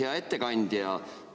Hea ettekandja!